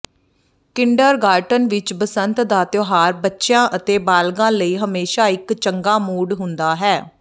kindergarten ਵਿੱਚ ਬਸੰਤ ਦਾ ਤਿਉਹਾਰ ਬੱਚਿਆਂ ਅਤੇ ਬਾਲਗ਼ਾਂ ਲਈ ਹਮੇਸ਼ਾਂ ਇੱਕ ਚੰਗਾ ਮੂਡ ਹੁੰਦਾ ਹੈ